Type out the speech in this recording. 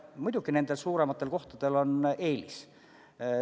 Muidugi suurematel kohtadel on eelis.